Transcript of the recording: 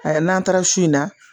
A n'an taara su in na